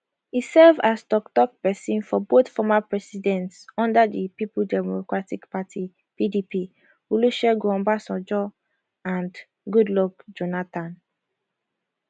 e serve as toktok pesin for both former presidents under di people democratic party pdp olusegun obasanjo and goodluck jonathan